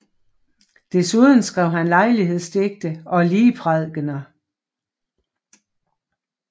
Desuden skrev han lejlighedsdigte og ligprædikener